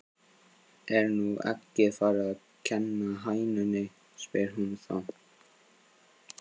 Er nú eggið farið að kenna hænunni? spyr hún þá.